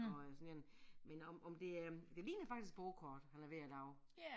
Og øh sådan igen men om om det er det ligner faktisk bordkort han er ved at lave